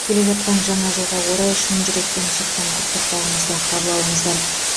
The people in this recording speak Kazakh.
келе жатқан жаңа жылға орай шын жүректен шыққан құттықтауымызды қабыл алыңыздар